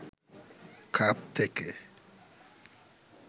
খাপ থেকে